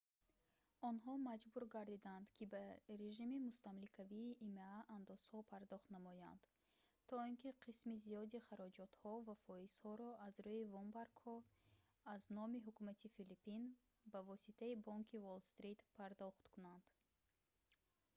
онҳо маҷбур гардиданд ки ба режими мустамликавии има андозҳо пардохт намоянд то ин ки қисми зиёди хароҷотҳо ва фоизҳоро аз рӯи вомбаргҳо аз номи ҳукумати филиппин ба воситаи бонки уолл-стрит пардохт кунанд